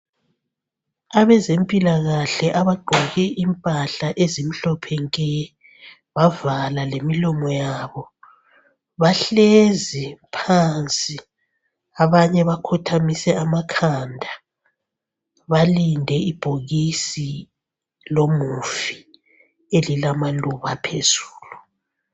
Abezempilakahle abagqoke impahla ezimhlophe nke bavala lemlomo yabo, bahlezi phansi abanye bakhothamise amakhanda balinde ibhokisi lomufi elilamaluba phezulu.